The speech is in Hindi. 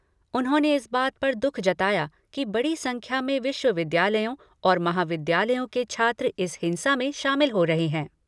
उन्होंने इस बात पर दुख जताया कि बड़ी संख्या में विश्वविद्यालयों और महाविद्यालयों के छात्र इस हिंसा में शामिल हो रहे है।